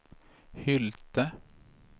Hylte